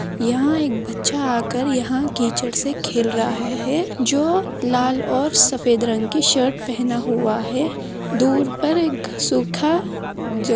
यहाँ एक बच्चा आकर यहाँ कीचड़ से खेल रहा है जो लाल और सफेद रंग की शर्ट पहना हुआ है दूर पर सुखा जो --